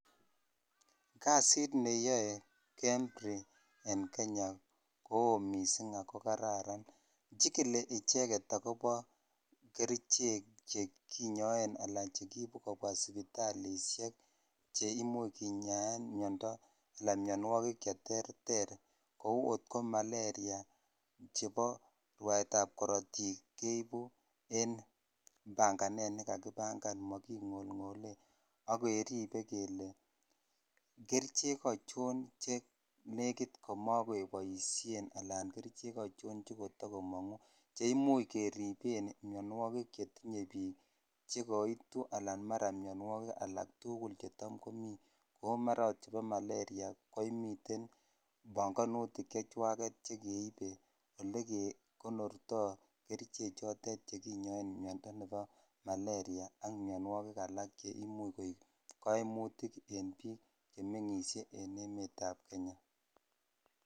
kasiit neyoe Kenya medical research insitute koo mising ago kararan, chigili icheget kericheek cheginyoeen anan chegiibu kobwa sipitalishek cheimuch kinyaaen myonwogiik cheterter kouu oot maleria, chebo rwaeet ab korotiik keibu kogagibangaan magingolngole ak keribe kelee kericheek achoon chenegiit mogeboisheen alaan kerichek achon chegotagomongu, cheimuuch keribeen myonwogiik chetinye biik anan ko myonwogiik alak tugul che taam komii, ooh maraa oot chebo maleria komiteen bongonutiik chechwageet chegeite olegekonortoo kericheek choteet cheginyoen myondo nebo maleria ak myonwogiik alak cheimuche koiib koimutik en biik chemengisyee en emet ab kenya .